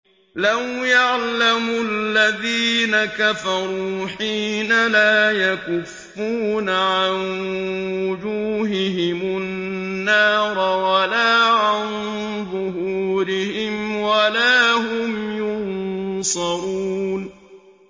لَوْ يَعْلَمُ الَّذِينَ كَفَرُوا حِينَ لَا يَكُفُّونَ عَن وُجُوهِهِمُ النَّارَ وَلَا عَن ظُهُورِهِمْ وَلَا هُمْ يُنصَرُونَ